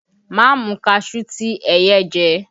Ma mu kaṣuú ti ẹyẹ jẹ!